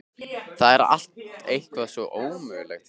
Það er allt eitthvað svo ómögulegt hérna.